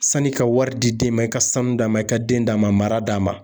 Sani i ka wari di den ma, i ka sanu d'a ma, i ka den d'a ma, mara d'a ma.